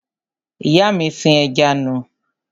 Ìyá mi sin ẹja nù.